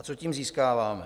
A co tím získáváme?